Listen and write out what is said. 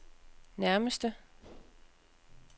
nærmeste